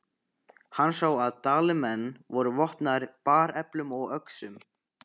Hann sá að Dalamenn voru vopnaðir bareflum og öxum.